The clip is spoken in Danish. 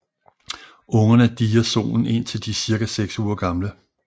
Ungerne dier soen indtil de er cirka seks uger gamle